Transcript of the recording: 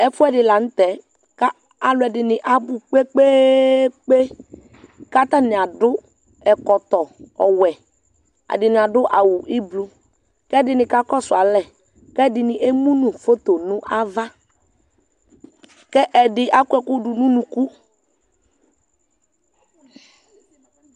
ɛfoɛdi lantɛ k'aloɛdini abò kpekpekpe k'atani ado ɛkɔtɔ ɔwɛ ɛdini ado awu ublɔ k'ɛdini kakɔsu alɛ k'ɛdini emu no foto no ava k'ɛdi akɔ ɛkò do no unuku